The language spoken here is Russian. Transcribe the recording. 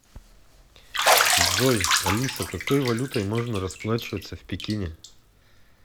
джой алиса какой валютой можно расплачиваться в пекине